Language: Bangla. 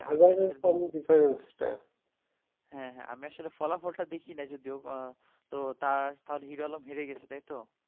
হ্যাঁ হ্যাঁ আমি আসলে ফলাফল তা দেখি না যদিও তো তার হিরো আলম হেরে গেছে তাই তো